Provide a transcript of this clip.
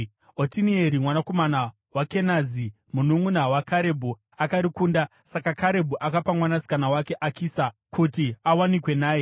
Otinieri mwanakomana waKenazi, mununʼuna waKarebhu, akarikunda, saka Karebhu akapa mwanasikana wake Akisa kuti awanikwe naye.